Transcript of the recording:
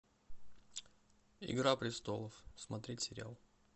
игра престолов смотреть сериал